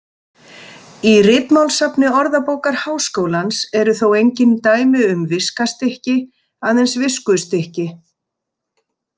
Í ritmálssafni Orðabókar Háskólans eru þó engin dæmi um viskastykki, aðeins viskustykki.